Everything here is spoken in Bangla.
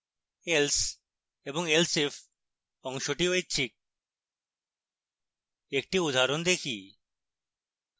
else এবং elseif অংশটি ঐচ্ছিক একটি উদাহরণ দেখি